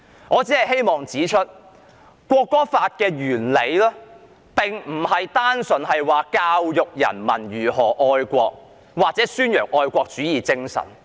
我只是希望指出，《條例草案》的理念並非單純是教育人民如何愛國或宣揚愛國主義精神。